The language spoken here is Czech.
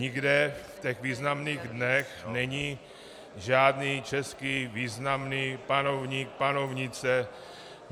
Nikde v těch významných dnech není žádný český významný panovník, panovnice, osoba -